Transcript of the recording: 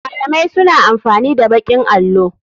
Malamai suna amfani da baƙin allo.